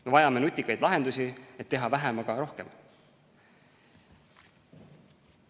Me vajame nutikaid lahendusi, et teha vähemaga rohkem.